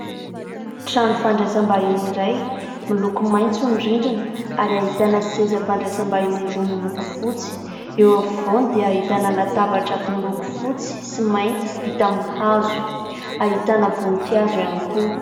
Trano fandraisam-bahiny iray miloko maitso ny rindrina ary ahitana seza fandraisam-bahiny roa miloko fotsy, eo afovoany dia ahitana latabatra miloko fotsy sy mainty vita hazo, ahitana voninkazo ihany koa.